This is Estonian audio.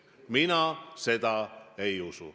Mina seda ei usu.